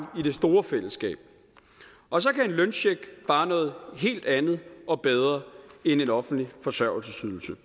i det store fællesskab og så kan en løncheck bare noget helt andet og bedre end en offentlig forsørgelsesydelse